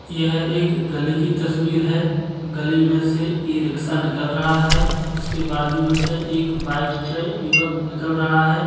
यह एक गली की तस्वीर है गली में से ई-रिक्शा निकल रहा है उसके बाजू में से एक बाइक पे युवक निकल रहा है।